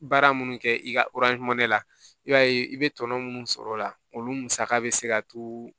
Baara minnu kɛ i ka la i b'a ye i bɛ tɔnɔ minnu sɔrɔ o la olu musaka bɛ se ka to